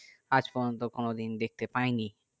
আজ পর্যন্ত আমি দেখতে পাইনি